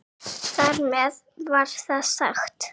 Þar með var það sagt.